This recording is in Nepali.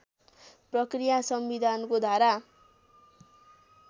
प्रक्रिया संविधानको धारा